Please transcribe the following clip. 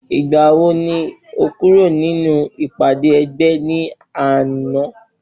Ìgbàwo ni o kúrò ní ìpàdé ẹgbẹ́ ní àná?